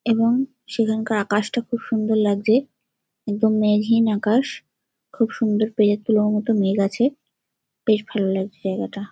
এবং সেখানকার আকাশটা খুব সুন্দর লাগছে একদম মেঘহীন আকাশ খুব সুন্দর পেজা তুলোর মত মেঘ আছে বেশ ভালো লাগছে জায়গাটা।